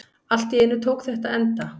Allt í einu tók þetta enda.